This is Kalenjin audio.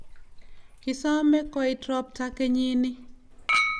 kisome kuoit robtab kenyini